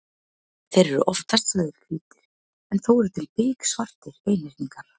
Þeir eru oftast sagðir hvítir en þó eru til biksvartir einhyrningar.